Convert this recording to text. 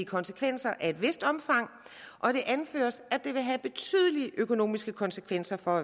konsekvenser af et vist omfang og det anføres at det vil have betydelige økonomiske konsekvenser for